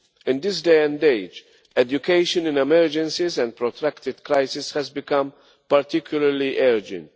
In this day and age, education in emergencies and protracted crises has become particularly urgent.